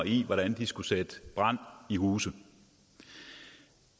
i hvordan de skal sætte brand i huse